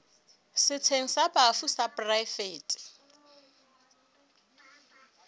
setsheng sa bafu sa poraefete